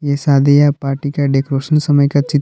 ये शादी या पार्टी का डेकोरेशन समय का चित्र--